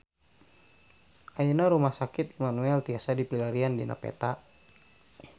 Ayeuna Rumah Sakit Immanuel tiasa dipilarian dina peta